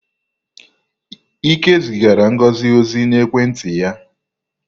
Ike zigara Ngozi ozi n'ekwenti ya.